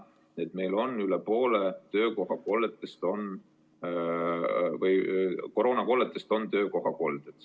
Me teame, et üle poole koroonakolletest on meil töökohakolded.